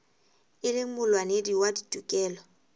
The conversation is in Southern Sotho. e leng molwanedi wa ditokelo